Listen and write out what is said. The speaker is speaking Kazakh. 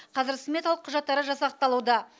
қазір сметалық құжаттары жасақталуда